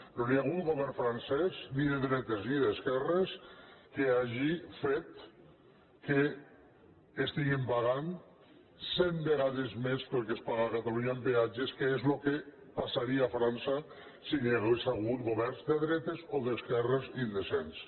no hi ha hagut ningú al govern francès ni de dretes ni d’esquerres que hagi fet que estiguin pagant cent vegades més que el que es paga a catalunya en peatges que és el que passaria a frança si hi hagués hagut governs de dretes o d’esquerres indecents